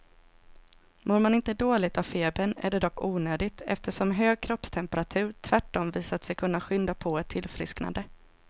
Mår man inte dåligt av febern är det dock onödigt, eftersom hög kroppstemperatur tvärtom visat sig kunna skynda på ett tillfrisknande.